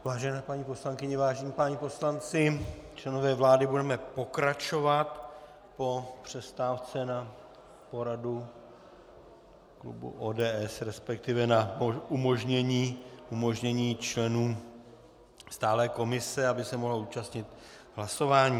Vážené paní poslankyně, vážení páni poslanci, členové vlády, budeme pokračovat po přestávce na poradu klubu ODS, respektive na umožnění členům stálé komise, aby se mohli účastnit hlasování.